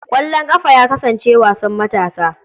Ƙwallon ƙafa ya kasance wasan matasa.